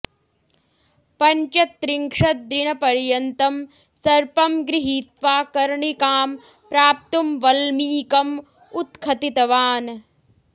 पञ्चत्रिंशत् दिनपर्यन्तं सर्पं गृहीत्वा कर्णिकां प्राप्तुं वल्मीकं उत्खतितवान्